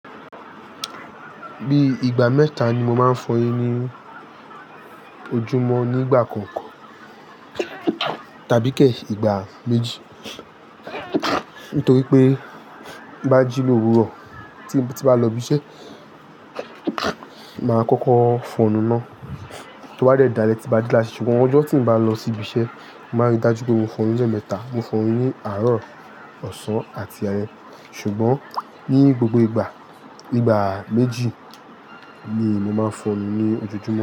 Bí ìgbà mẹ́ta ni mo máa ń fọ eyín ní ojúmọ́ nígbà kọ̀ọ̀ko tàbí kè ìgbà méjì. Nítorí pé tin bá jí lówúró tí bá lọ ibi iṣẹ́ máa kọ́kọ́ fọnu náà. To bá dẹ̀ dále tí bá dé láti ṣe. Ṣùgbọ́n ọjọ́ tín bá lọ sí ibi iṣẹ́, máa rí dájú pé mo fọ eyín le mẹ́ta. Mo fọ eyín ní àárọ̀, ọ̀sán àti ale. Ṣùgbọ́n ní gbogbo ìgbà, ígbà méjì ni mo máa ń fọ nu ní ojojúmọ́